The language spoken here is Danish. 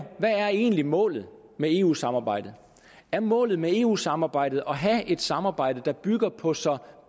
hvad er egentlig målet med eu samarbejdet er målet med eu samarbejdet at have et samarbejde der bygger på så